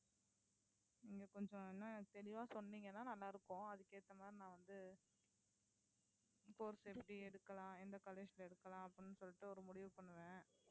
நீங்க கொஞ்சம் இன்னும் தெளிவா சொன்னீங்கன்னா நல்லா இருக்கும் அதுக்கு ஏத்த மாதிரி நான் வந்து course எப்படி எடுக்கலாம் எந்த college ல எடுக்கலாம் அப்படின்னு சொல்லிட்டு ஒரு முடிவு பண்ணுவேன்